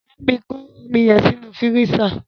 Bámi kọ́ omi yẹn sínú fírísà!